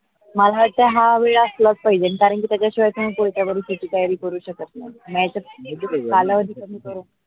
मला हा वेळ असला पाहिजे कारण कि त्याच्या शिवाय कोणत्या परीक्षेची तयारी करू शकत नाही. नाही त कालावधी कमी करू.